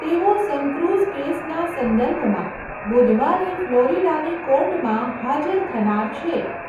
તેઓ સનક્રુઝ કેસના સંદર્ભમાં બુધવારે ફ્લોરિડાની કોર્ટમાં હાજર થનાર છે.